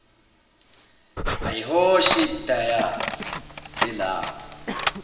ayihoshe idayari elapho